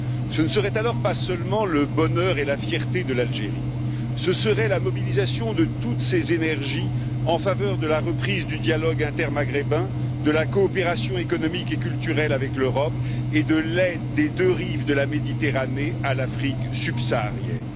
Ce ne serait alors pas seulement le bonheur et la fierté de l'Algérie, ce serait la mobilisation de toutes ces énergies en faveur de la reprise du dialogue intermaghrébin, de la coopération économique et culturelle avec l'Europe, et de l'aide des deux rives de la Méditerranée à l'Afrique subsaharienne.